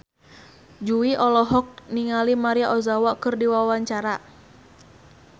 Jui olohok ningali Maria Ozawa keur diwawancara